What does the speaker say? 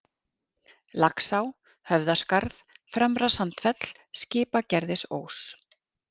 Laxá, Höfðaskarð, Fremra-Sandfell, Skipagerðisós